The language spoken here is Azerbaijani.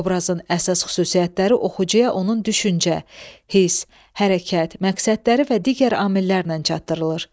Obrazın əsas xüsusiyyətləri oxucuya onun düşüncə, hiss, hərəkət, məqsədləri və digər amillərlə çatdırılır.